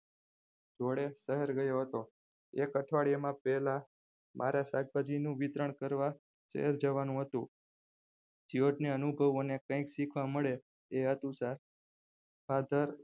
જોડે શહેર ગયો હતો એક અઠવાડીયા માં પહેલા મારા શાકભાજીનું વિતરણ કરવા શહેર જવાનું હતું જ્યોર્જને અનુભવ અને કંઈક શીખવા મળે father